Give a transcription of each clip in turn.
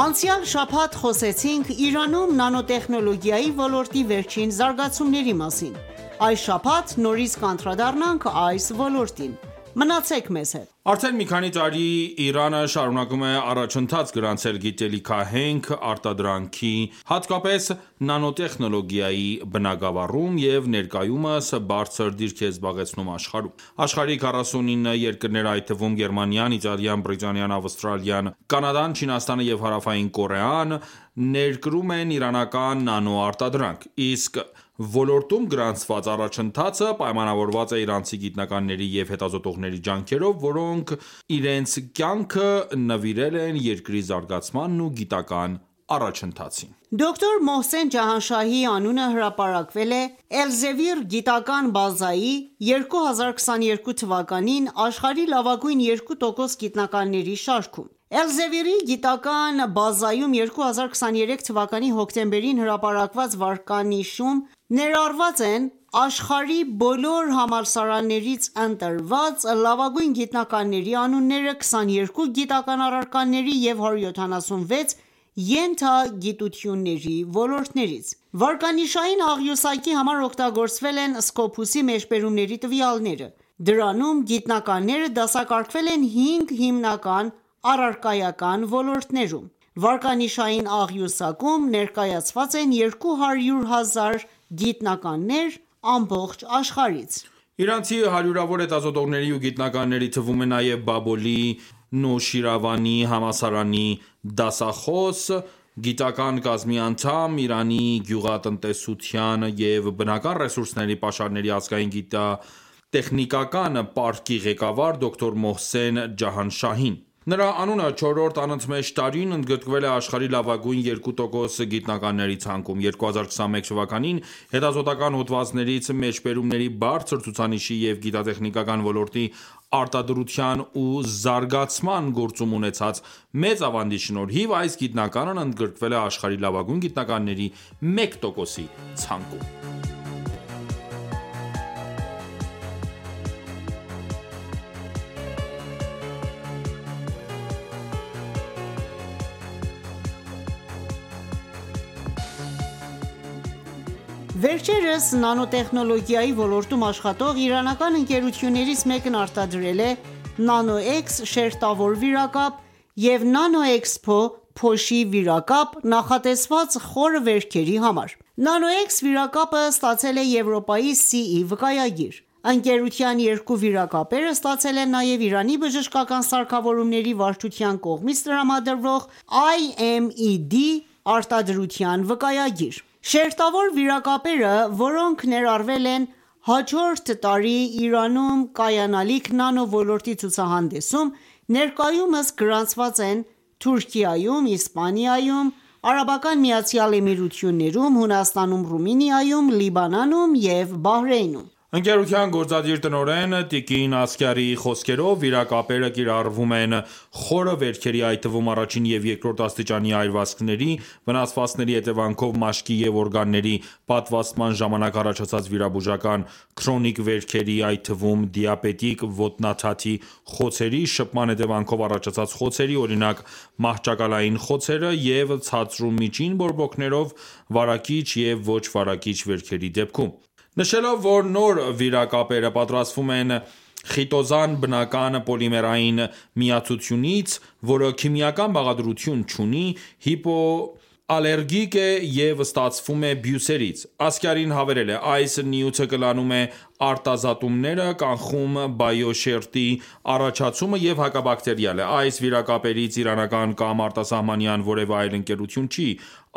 Անցյալ շաբաթ խոսեցինք Իրանում նանոտեխնոլոգիայի ոլորտի վերջին զարգացումների մասին: Այս շաբաթ նորից կանդրադառնանք այս լորոտին։ Մնացեք մեզ հետ։ Արդեն մի քանի տարի Իրանըշարունակում է առաջընթաց գրանցել գիտահենք արտադրանքի, հատկապես՝ նանոտեխնոլոգիայի բնագաավառում և ներկայուսմ բարձր դիրք է զբաղեցնում աշխարհում: Աշխարհի 49 երկրներ, այդ թվում՝ Գերմանիան, Իտալիան, Բրիտանիան, Ավստրալիան, Կանադան, Չինաստանը և Հարավային Կորեան, ներկրում են իրանական նանո արտադրանք: Իսկ ոլորտում գրանցված առաջընթացը պայմանավորված է իրանցի գիտնականների և հետազոտողների ջանքերով, ովքեր իրենց կյանքը նվիրել են երկրի զարգացմանն ու գիտական առաջընթացին: Դոկտ. Մոհսեն Ջահանշահիի անունը հրապարակվել է Elsevier գիտական բազայի 2022 թվականին աշխարհի լավագույն 2% գիտնականների շարքում։ Elsevier-ի գիտական բազայում 2023 թվականի հոկտեմբերին հրապարակված վարկանիշայուն աղյուսակում ներառված են աշխարհի բոլոր համալսարաններից ընտրված լավագույն գիտնականների անունները՝ 22 գիտական առարկաների և 176 ենթագիտությունների ոլորտներից։ Վարկանիշային աղյուսակի համար օգտագործվել են Scopus-ի մեջբերումների տվյալները։ Դրանում գիտնականները դասակարգվել են 5 հիմնական առարկայական ոլորտներում։ Վարկանիշային աղյուսակում ներկայացված են 200 հազար գիտնականներ ամբողջ աշխարհից։ Իրանցի հարյուրավոր հետազոտողների ու գիտնականների թվում է նաև Բաբոլի Նուշիրվանի համալսարանի դասախոս, գիտական կազմի անդամ, Իրանի գյուղատնտեսության և բնական ռեսուրսների պաշարների ազգային գիգիտատեխնիկական պարկի ղեկավար, դոկտ. Մոհսեն Ջահանշահին։ Նրա անունը, չորրորդ անընդմեջ տարին, ընդգրկվել է աշխարհի լավագույն երկու տոկոս գիտնականների ցանկում: 2021 թվականին, հետազոտական հոդվածներից մեջբերումների բարձր ցուցանիշի և գիտատեխնիկական ոլորտի արտադրության ու զարգացման գործում ունեցած մեծ ավանդի շնորհիվ, այս գիտնականն ընդգրկվել է աշխարհի լավագույն գիտնականների մեկ տոկոսի ցանկում։ Վերջերս նանոտեխնոլոգիայի ոլորտում աշխատող իրանական ընկերություններից մեկն արտադրել է NanoEx շերտավոր վիրակապ և NanoExpo powder փոշի-վիրակապ, նախատեսված խորը վերքերի համար։ NanoEx վիրակապը ստացել է Եվրոպայի CE վկայագիր։ Ընկերության երկու վիրակապերը ստացել են նաև Իրանի բժշկական սարքավորումների վարչության կողմից տրամադրվող IMED արտադրության վկայագիր: Շերտավոր վիրակապերը, որոնք ներառվել են հաջորդ տարի Իրանում կայանալիք նանո ոլորտի ցուցահանդեսում, ներկայումս գրանցված են Թուրքիայում, Իսպանիայում, ԱՄԷ-ում, Հունաստանում, Ռումինիայում, Լիբանանում և Բահրեյնում։ Ընկերության գործադիր տնօրեն տիկ. Ասգարիի խոսքերով, վիրակապերը կիրառվում են խորը վերքերի, այդ թվում՝ առաջին և 2-րդ աստիճանի այրվածքների, վնասվածքների հետևանքով, մաշկի և օրգանների պատվաստման ժամանակ առաջացած, վիրաբուժական, քրոնիկ վերքերի, այդ թվում՝ դիաբետիկ ոտնաթաթի խոցերի, շփման հետևանքով առաջացած խոցերի (օրինակ՝ մահճակալային խոցերը) և ցածր ու միջին բորբոքումներով վարակիչ և ոչ վարակիչ վերքերի դեպքում: Նշելով, որ նոր վիրակապերը պատրաստվում են խիտոզան բնական պոլիմերային միացությունից, որը քիմիական բաղադրություն չունի, հիպոալերգիկ է և ստացվում է բույսերից, Ասգարին հավելել է. «Այս նյութը կլանում է արտազատումները, կանխում բիոշերտի առաջացումը և հակաբակտերիալ է։ Այս վիրակապերից իրանական կամ արտասահմանյան որևէ այլ ընկերություն չի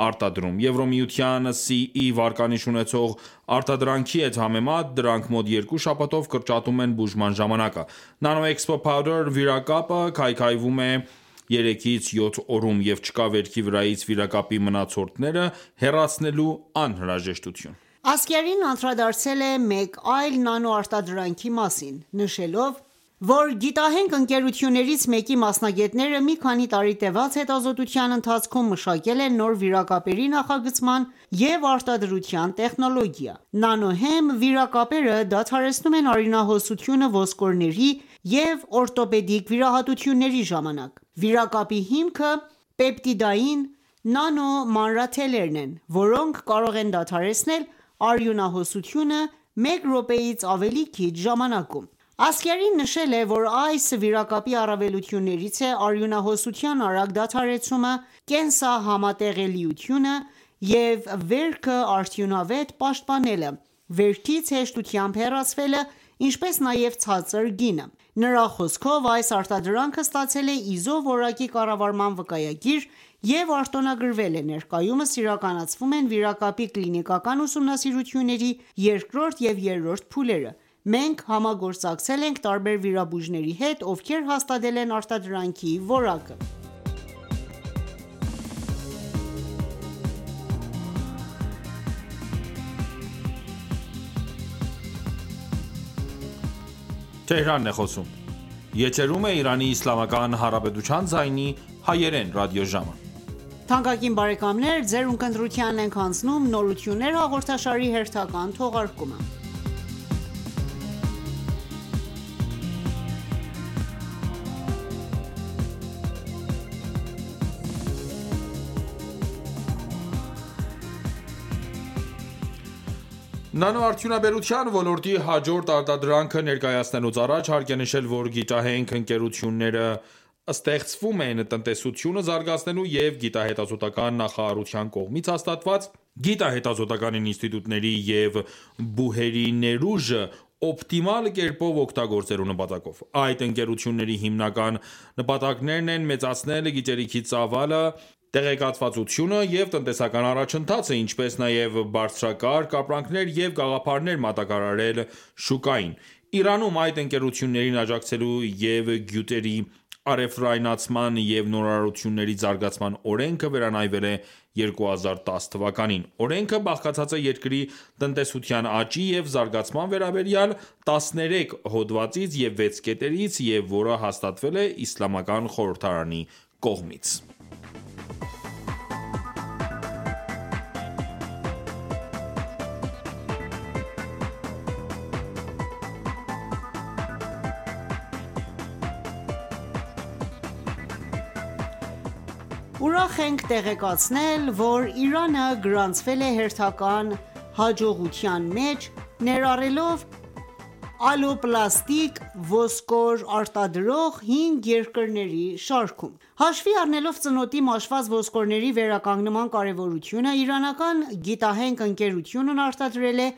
արտադրում։ Եվրոմիության CE վարկանիշ ունեցող արտադրանքի հետ համեմատ, դրանք մոտ 2 շաբաթով կրճատում են բուժման ժամանակը: NanoExpo powder վիրակապը քայքայվում է 3-ից 7 օրում, և չկա վերքի վրայից վիրակապի մնացորդները հեռացնելու անհրաժեշտություն։ Ասգարին անդրադարձել է մեկ այլ նանո արտադրանքի մասին, նշելով, որ գիտահենք ընկերություններից մեկի մասնագետները մի քանի տարի տևած հետազոտության ընթացքում մշակել են նոր վիրակապերի նախագծման և արտադրության տեխնոլոգիա: Nano Hem վիրակապերը դադարեցնում են արյունահոսությունը ոսկորների և օրթոպեդիկ վիրահատությունների ժամանակ։ Վիրակապի հիմքը պեպտիդային նանոմանրաթելերն են, որոնք կարող են դադարեցնել արյունահոսությունը մեկ րոպեից ավելի քիչ ժամանակում: Ասգարին նշել է, որ այս վիրակապի առավելություններից է արյունահոսության արագ դադարեցումը, կենսահամատեղելիությունը և վերքը արդյունավետ պաշտպանելը, վերքից հեշտությամբ հեռացվելը, ինչպես նաև ցածր գինը։ Նրա խոսքով. «Այս արտադրանքը ստացել է ISO որակի կառավարման վկայագիր և արտոնագրվել է։ Ներկայումս իրականացվում են վիրակապի կլինիկական ուսումնասիրությունների 2-րդ և 3-րդ փուլերը: Մենք համագործակցել ենք տարբեր վիրաբույժների հետ, ովքեր հաստատել են արտադրանքի որակը»։ Նանոարդյունաբերության ոլորտի հաջորդ արտադրանքը ներկայացնելուց առաջ հարկ է նշել, որ գիտահենք ընկերությունները ստեղծվում են տնտեսությունը զարգացնելու և Գիտահետազոտական նախարարության կողմից հաստատված գիտահետազոտական ինստիտուտների և ԲՈՒՀ-երի ներուժը օպտիմալ կերպով օգտագործելու նպատակով։ Այդ ընկերությունների հիմնական նպատակներն են՝ մեծացնել գիտելիքի ծավալը, տեղեկացվածությունը և տնտեսական առաջընթացը, ինչպես նաև բարձրակարգ ապրանքներ և գաղափարներ մատակարարել շուկային: Իրանում այդ ընկերություններին աջակցելու և գյուտերի առևտրայնացման և նորարարությունների զարգացման օրենքը վերանայվել է 2010 թ։ Օրենքը բաղկացած է երկրի տնտեսության աճի և զարգացման վերաբերյալ տասներեք հոդվածից և վեց կետերից և որը հաստատվել է Իսլամական խորհրդարանի կողմից: Ուրախ ենք տեղեկացնել, որ Իրանը գրանցել է հերթական հաջողությունը՝ ներառվելով ալոպլաստիկ ոսկոր արտադրող 5 երկրների շարքում։ Հաշվի առնելով ծնոտի մաշված ոսկորների վերականգնման կարևորությունը, իրանական գիտահենք ընկերությունն արտադրել է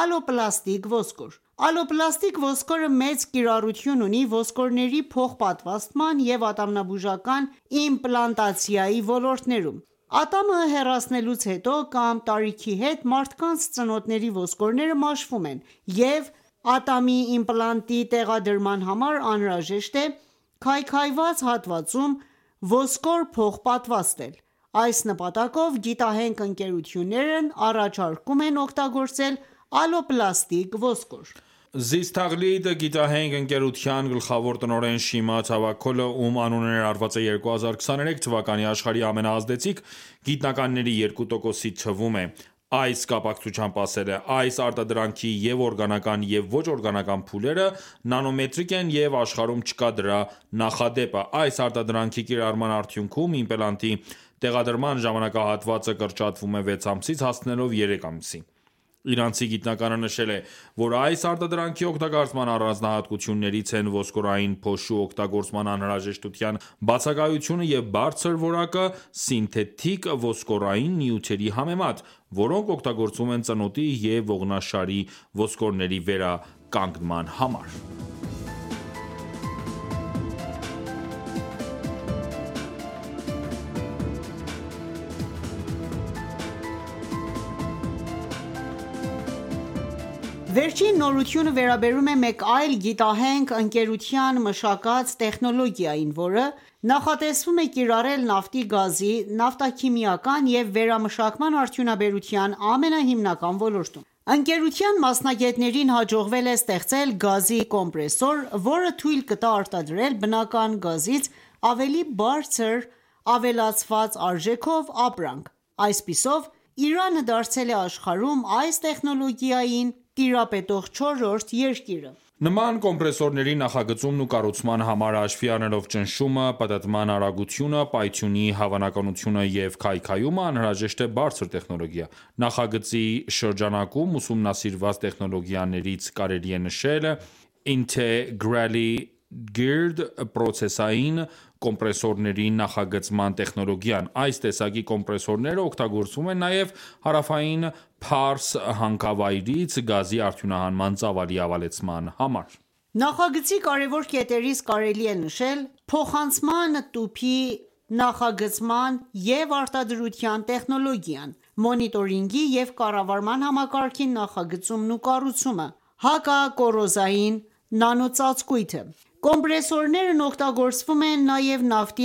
ալոպլաստիկ ոսկոր: Ալոպլաստիկ ոսկորը մեծ կիրառություն ունի ոսկորների փոխպատվաստման և ատամնաբուժական իմպլանտոլոգիայի ոլորտներում: Ատամը հեռացնելուց հետո կամ տարիքի հետ մարդկանց ծնոտների ոսկորները մաշվում են և իատամի իմպլանտի տեղադրման համար անհրաժեշտ է քայքայված հատվածում ոսկոր փոխպատվաստել։ Այդ նպատակով, գիտահենք ընկերություններն առաջարկում են օգտագործել ալոպլաստիկ ոսկոր: «Զիստ Թաղլիդ» գիտահենք ընկերության գլխավոր տնօրեն Շիմա Թավաքոլը, ում անունը ներառված է 2023 թվականի աշխարհի ամենաազդեցիկ գիտնականների 2%-ի թվում է, այս կապակցությամբ ասել է. «Այս արտադրանքի և՛ օրգանական, և՛ ոչ օրգանական փուլերը նանոմետրիկ են, և աշխարհում չկա դրա նախադեպը։ Այս արտադրանքի կիրառման արդյուքնում, իմպլանտի տեղադրման ժամանակահատվածը կրճատվում է, 6 ամսից հասնելով 3 ամսի Իրանցի գիտնականը նշել է, որ այս արտադրանքի օգտագործման առանձնահատկություններից են ոսկրային փոշու օգտագործման անհրաժեշտության բացակայությունը և բարձր որակը՝ սինթետիկ ոսկորային նյութերի համեմատ, որոնք օգտագործվում են ծնոտի և ողնաշարի ոսկորների վերականգնման համար: Վերջին նորությունը վերաբերվում է մեկ այլ գիտահենք ընկերության մշակած տեխնոլոգիային, որը նախատեսվում է կիրառել նավթի, գազի, նավթաքիմիական և վերամշակման արդյունաբերության ամենահիմնական ոլորտում։ Ընկերության ամսնագետներին հաջողվել է ստեղծել գազի կոմպրեսոր, որը թույլ կտա արտադրել բնական գազից ավելի բարձր ավելացված արժեքով ապրանք։ Այսպիսով, Իրանը դարձել է աշխարհում այս տեխնոլոգիային տիրապետող 4-րդ երկիրը։ Նման կոմպրեսորների նախագծումն ու կառուցման համար, հաշվի առնելով ճնշումը, պտտման արագությունը, պայթյունի հավանականությունը և քայքայումը, անհրաժեշտ է բարձր տեխնոլոգիա: Նախագծի շրջանակում ուսումնասիրված տեխնոլոգիաներից կարելի է նշել Integrally Geared պրոցեսային կոմպրեսորների նախագծման տեխնոլոգիան։ Այս տեսակի կոմպրեսորները օգտագործվում են նաև Հարավային Փարս հանքավայրից գազի արդյունահանման ծավալի ավելացման համար։ Նախագծի կարևոր կետերից կարելի է նշել փոխանցման տուփի նախագծման և արտադրության տեխնոլոգիան, մոնիտորինգի և կառավարման համակարգի նախագծումն ու կառուցումը, հակակոռոզիոն նանոծածկույթը: Կոմպրեսորներն օգտագործվում են նաև նավթի